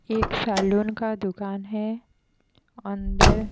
एक सलून का दुकान है अंदर।